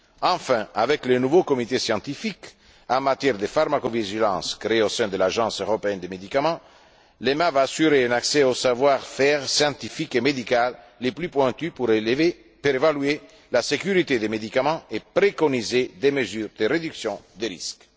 Enfin, avec le nouveau comité scientifique en matière de pharmacovigilance créé au sein de l'Agence européenne des médicaments, l'EMA va assurer un accès au savoir faire scientifique et médical le plus pointu pour évaluer la sécurité des médicaments et préconiser des mesures de réduction des risques.